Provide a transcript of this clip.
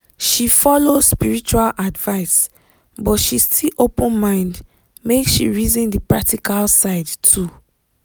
she follow spiritual advice but she still open mind make she reason di practical side too.